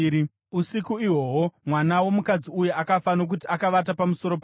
“Usiku ihwohwo mwana womukadzi uyu akafa, nokuti akavata pamusoro pake.